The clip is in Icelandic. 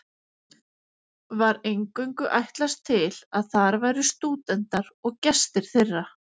Var eingöngu ætlast til að þar væru stúdentar og gestir þeirra.